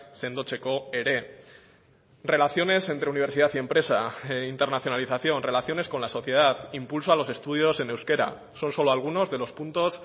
sendotzeko ere relaciones entre universidad y empresa internacionalización relaciones con la sociedad impulso a los estudios en euskera son solo algunos de los puntos